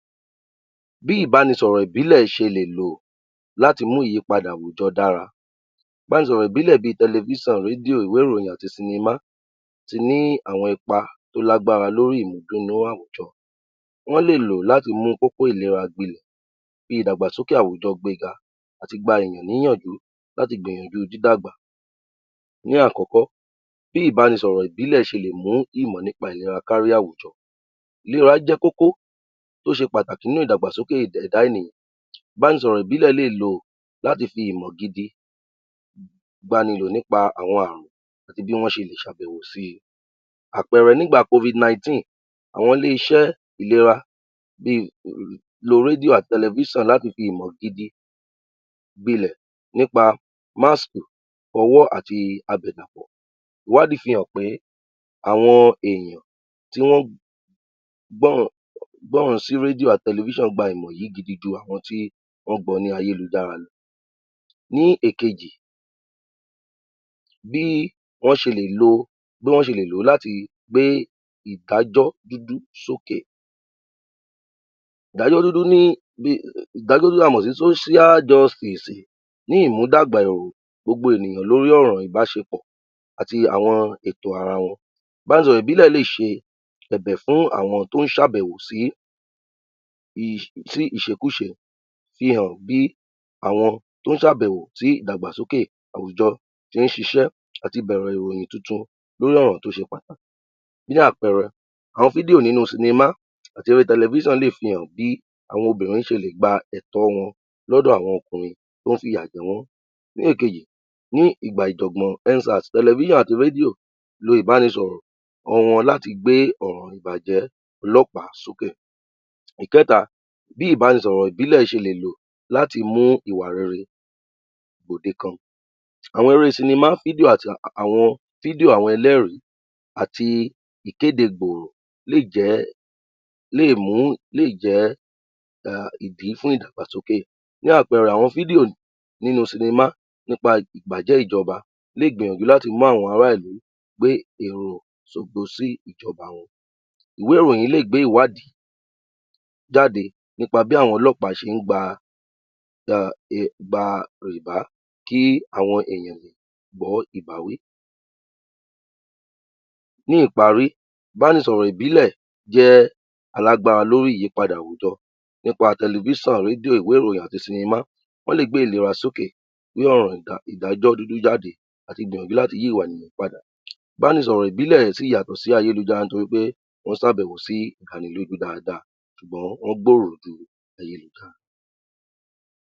Bí ìbánisọ̀rọ̀ ìbílẹ̀ ṣe lè lò láti mú ìyípadà àwùjọ dára, ìbánisọ̀rọ̀ ìbílẹ̀ bí tẹlẹfíṣàn, rédíò, ìwé ìròyìn àti sinimá ti ní àwọn ipa tó lágbára lóri ìmúnúdùn àwùjọ, wọ́n lè ló láti mú kókó ìlera gbinlẹ̀, fi ìdàgbàsókè àwùjọ gbega àti gba èyàn ní ìyànjú láti gbìyànjú dídàgbà. Ní àkọ́kọ́, bí ìbánisọ̀rọ̀ ìbílẹ̀ ṣe lè mú ìmọ̀ nípa ìlera kárí àwùjọ, ìlera jẹ́ kókó, ó ṣe pàtàkì nínú ìdàgbàsókè ẹ̀dá ènìyàn, ìbánisọ̀rọ̀ ìbílẹ̀ lè lò láti fi ìmọ̀ gidi nípa àwọn àrùn àti bí wọn ṣe lè ṣàbẹ̀wo si. Àpẹẹrẹ, nígbà (Covid-19) àwọn ilé-iṣẹ́ ìlera bí lo rédíò àti telefíṣàn láti fi ìmọ̀ gidi gbinlẹ̀ nípa (Mask), ìfọwọ́ àti àbẹ̀dàpọ̀, ìwádìí fi hàn pé àwọn èèyan tí wọ́n gbọ́ràn sí rédíò àti tẹlẹfíṣàn gba ìmọ̀ yí gidi ju àwọn tí wọ́n gbọ lórí ayélujara lọ. Ní èkejì, bí wọ́n ṣe lè ló láti gbé ìdájọ́ dúdú sókè, ìdájọ́ dúdú ta mọ̀ sí (Social Justice) ní ìmúdàgbà ìròyìn gbogbo ènìyàn lórí ọ̀rọ̀ ìbáṣepọ̀ àti àwọn ètò ara wọn. Ìbánisọ̀rọ̀ ìbílẹ̀ lè ṣe ẹ̀bẹ̀ fún àwọn tó ń ṣàbẹ̀wò sí ìṣekúṣe ṣehàn bí àwọn tó ń ṣàbẹ̀wò sí ìdàgbàsókè àwùjọ tí ń ṣiṣẹ́ àti bẹ̀rẹ̀ ìròyìn tuntun lórí ọ̀rọ̀ tó ṣe pàtàkì, fún àpẹẹrẹ, àwọn fídíò nínú sinimá àti orí tẹlẹfíṣàn lè fi hàn bí àwọn obìnrin ṣe lè gba ẹ̀tọ́ wọn lọ́dọ̀ àwọn ọkùnrin tó ń fi ìyà jẹ wọ́n. Ní èkejì, ní ìgbà ìjọ̀gbọ̀n (ENDS SARS) tẹlẹfíṣàn àti rédíò lo ìbánisọ̀rọ̀ wọn láti gbé ọ̀rọ̀ ìbàjẹ́ ọlọ́pàá sókè. Ìkẹ́ta, bí ìbánisọ̀rọ̀ ìbílẹ̀ ṣe lè lò láti mú ìwà rere gbòde kan, àwọn eré sinimá, fídíò àti fídíò àwọn ẹlẹ́rìí àti ìkéde gbòòrò lè jẹ́ ìdí fún ìdàgbàsókè, fún àpẹẹrẹ, àwọn fídíò nínú sinimá nípa ìbàjẹ́ ìjọba lè gbìyànjú láti mú àwọn ará ìlú gbé èrò ìsojo sí ìjọba wọn. Ìwé ìròyìn lè gbé ìwádìí jáde nípa bí àwọn ọlọ́pàá ṣe ń gba rìbá, kí àwọn èyàn gbọ́ ìbáwí. Ní ìparí, ìbánisọ̀rọ̀ ìbílẹ̀ jẹ́ alágbára lórí ìyípada àwùjọ nípa tẹlẹfíṣàn, rédíò, ìwé ìròyìn àti sinimá, wọ́n lè gbé ìlera sókè ní ọ̀nà ìdájọ́ dúdú jáde àti gbìyànjú láti yí ìwà ènìyàn padà, ìbánisọ̀rọ̀ ìbílẹ̀ sì yàtọ̀ sí ayélujára nítorí pé ó ń ṣàbẹ̀wò sí ìdánilójú daada ṣùgbón wọ́n gbòrò ju ayélujára lọ.